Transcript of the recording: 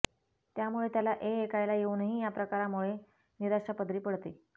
त्यामुळे त्याला ऐएकायला येऊनही या प्रकारामुळे निराशा पदरी पडते